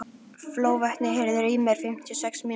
Flóvent, heyrðu í mér eftir fimmtíu og sex mínútur.